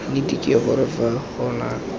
nnete ke gore ga gona